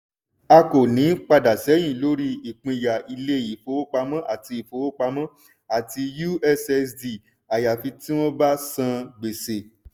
a kò ní padà ṣẹ́yìn lórí ìpínyà ilé ìfowópamọ́ àti ìfowópamọ́ àti ussd àyàfi tí wọ́n san gbèsè.